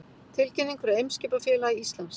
Tilkynning frá Eimskipafélagi Íslands